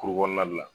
Kuru kɔnɔna de la